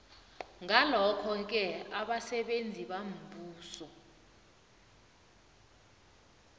ngalokhoke abasebenzi bombuso